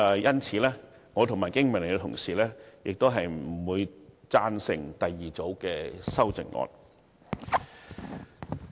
因此，我和經民聯同事不會贊成第二組修正案。